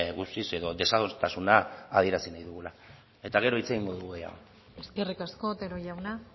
guztiz edo desadostasuna adierazi nahi dugula eta gero hitz egingo dugu gehiago eskerrik asko otero jauna